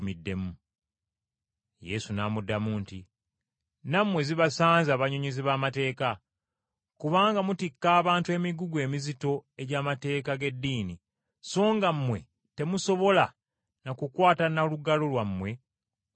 Yesu n’amuddamu nti, “Nammwe zibasanze abannyonnyozi b’amateeka! Kubanga mutikka abantu emigugu emizito egy’amateeka g’eddiini, so nga mmwe temusobola na kukwata na lugalo lwammwe ku migugu egyo.